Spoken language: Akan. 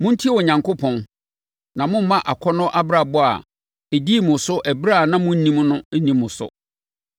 Montie Onyankopɔn, na mommma akɔnnɔ abrabɔ a ɛdii mo so ɛberɛ a na monnim no nni mo so.